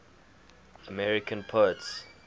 american poets